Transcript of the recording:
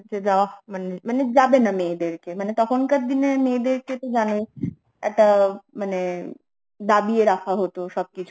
দেওয়া মানে মানে যাবে না মেয়েদেরকে, মানে তখন কার দিনের মেয়েদের কে তো জানোই একটা মানে দাবিয়ে রাখা হত সব কিছু